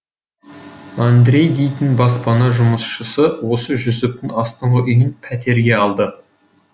андрей дейтін баспахана жұмысшысы осы жүсіптің астыңғы үйін пәтерге алды